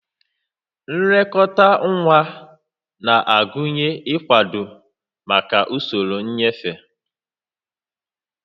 Nlekọta nwa na-agụnye ịkwado maka usoro nnyefe